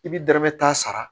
I bi dɔrɔmɛ tan sara